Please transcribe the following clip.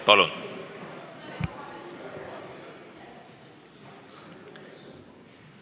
Palun!